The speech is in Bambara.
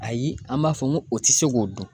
Ayi an b'a fɔ n ko o tɛ se k'o dun.